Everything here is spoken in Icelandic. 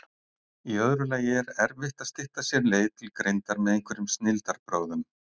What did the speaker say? Í öðru lagi er erfitt að stytta sér leið til greindar með einhverjum snilldarbrögðum.